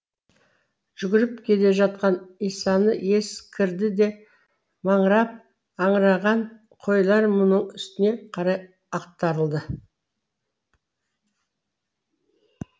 жүгіріп келе жатқан исаны ес кірді де маңырап аңыраған қойлар мұның үстіне қарай ақтарылды